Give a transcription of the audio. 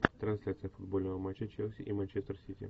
трансляция футбольного матча челси и манчестер сити